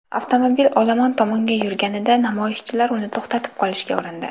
Avtomobil olomon tomonga yurganida namoyishchilar uni to‘xtatib qolishga urindi.